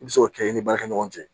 I bɛ se k'o kɛ i ni baarakɛ ɲɔgɔn cɛ